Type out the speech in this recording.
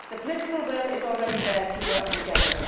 The political will is already there to work together.